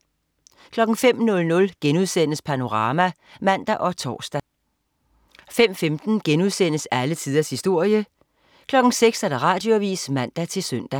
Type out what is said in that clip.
05.00 Panorama* (man og tors) 05.15 Alle tiders historie* 06.00 Radioavis (man-søn)